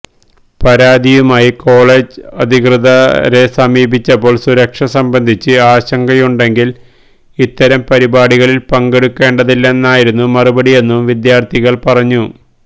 പരാതിയുമായി കോളേജ് അധികൃതരെ സമീപിച്ചപ്പോള് സുരക്ഷ സംബന്ധിച്ച് ആശങ്കയുണ്ടെങ്കില് ഇത്തരം പരിപാടികളില് പങ്കെടുക്കേണ്ടതില്ലെന്നായിരുന്നു മറുപടിയെന്നും വിദ്യാര്ഥിനികള് പറഞ്ഞു